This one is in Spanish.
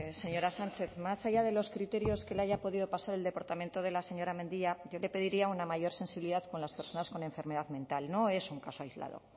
señora sánchez más allá de los criterios que le haya podido pasar el departamento de la señora mendia yo le pediría una mayor sensibilidad con las personas con enfermedad mental no es un caso aislado